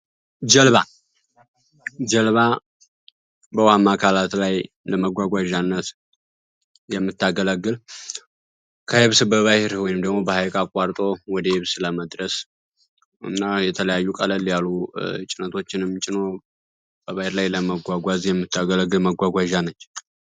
ጀልባ ጀልባ በውሃማ አካላት ላይ ለመጓጓዣነት የምታገለግል ከየብስ በባህር ወይም ደግሞ በሃይቅ አቋርጦ ወደ የብስ ለመድረስ እና የተለያዩ ቀለል ያሉ እጭነቶችንም ጭኖ በባህር ላይ ለመጓጓዝ የምታገለግል መጓጓዣ ነች።